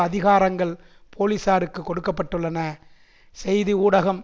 அதிகாரங்கள் போலீசாருக்கு கொடுக்க பட்டுள்ளன செய்தி ஊடகம்